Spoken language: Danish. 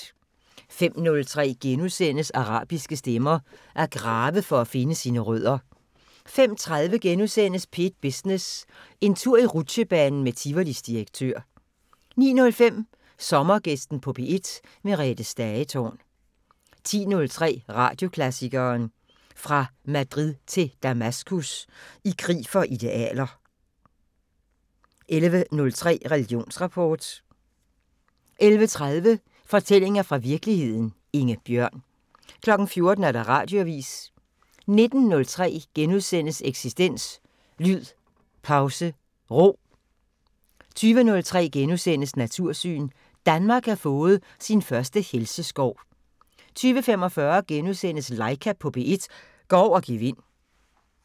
05:03: Arabiske stemmer: At grave for at finde sine rødder * 05:30: P1 Business: En tur i rutsjebanen med Tivolis direktør * 09:05: Sommergæsten på P1: Merethe Stagetorn 10:03: Radioklassikeren: Fra Madrid til Damaskus – I krig for idealer 11:03: Religionsrapport 11:30: Fortællinger fra virkeligheden – Inge Bjørn 14:00: Radioavisen 19:03: Eksistens: Lyd Pause Ro * 20:03: Natursyn: Danmark har fået sin første helseskov * 20:45: Laika på P1 – går over gevind *